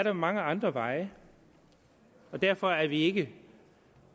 er mange andre veje derfor er vi ikke